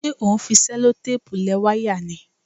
Ṣé o ń fi ṣẹlotẹ́ẹ̀pù lẹ wáyà ni?